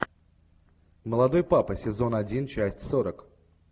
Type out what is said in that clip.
молодой папа сезон один часть сорок